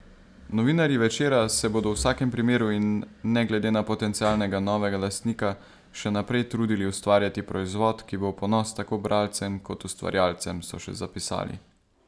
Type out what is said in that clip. Novinarji Večera se bodo v vsakem primeru in ne glede na potencialnega novega lastnika še naprej trudili ustvarjati proizvod, ki bo v ponos tako bralcem kot ustvarjalcem, so še zapisali.